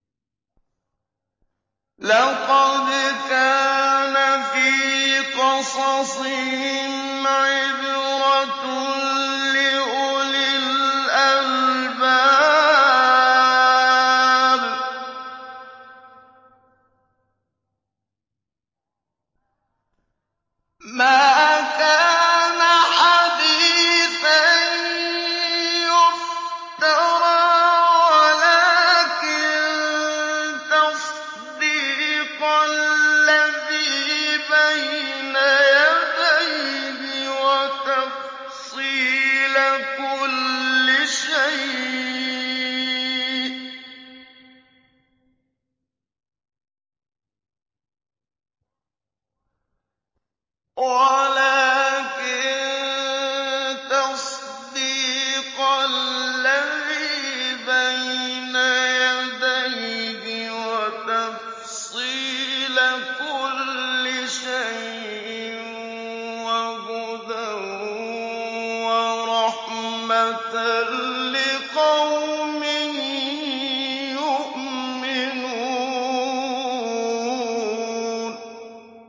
لَقَدْ كَانَ فِي قَصَصِهِمْ عِبْرَةٌ لِّأُولِي الْأَلْبَابِ ۗ مَا كَانَ حَدِيثًا يُفْتَرَىٰ وَلَٰكِن تَصْدِيقَ الَّذِي بَيْنَ يَدَيْهِ وَتَفْصِيلَ كُلِّ شَيْءٍ وَهُدًى وَرَحْمَةً لِّقَوْمٍ يُؤْمِنُونَ